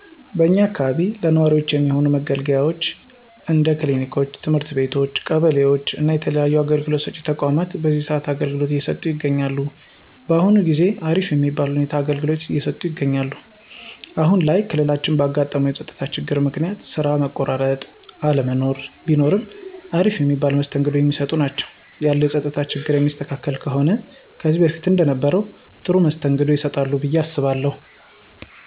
በእኛ አካባቢ ለነዋሪወች የሚሆኑ መገልገያወች እንደ ክሊኒኮች፣ ትምህርት ቤቶች ቀበሌወች እና የተለያዩ አገልግሎት ሰጪ ተቋማት በዚህ ሰአት አገልግሎት እየሰጠ ይገኛል። በአሁን ጊዜ አሪፍ የሚባል ሁኔታ አገልግሎት እየሰጡ ይገኛሉ። አሁን ላይ ክልላችን ባጋጠመው የፀጥታ ችግር ምክንያት ስራ መቆራረጥ እና አለመኖር ቢኖርም አሪፍ የሚባል መስተንግዶ የሚሰጡ ናቸው። ያለው የፀጥታ ችግር የሚስተካከል ከሆነ ከዚህ በፊት እንደነበረው ጥሩ መስተንግዶ ይሰጣሉ ብየ አስባለሁ።